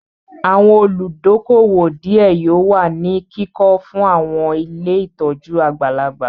Àwọn olùdókóówò díẹ̀ yóò wà ní kíkọ fún àwọn ilé ìtọ́jú àgbàlagbà